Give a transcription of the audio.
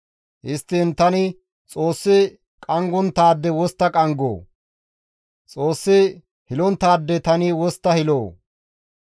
Histtiin tani Xoossi qanggonttaade wostta qanggoo? Xoossi hilonttaade tani wostta hiloo?